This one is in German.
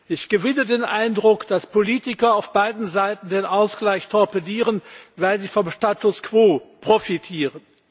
Ich gewinne den Eindruck, dass Politiker auf beiden Seiten den Ausgleich torpedieren, weil sie vom Status quo profitieren.